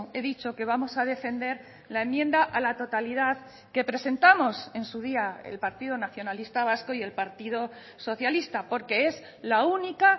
he dicho que vamos a defender la enmienda a la totalidad que presentamos en su día el partido nacionalista vasco y el partido socialista porque es la única